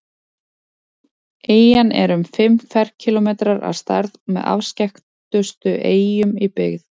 Eyjan er um fimm ferkílómetrar að stærð og með afskekktustu eyjum í byggð.